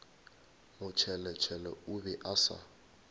motšheletšhele o be a sa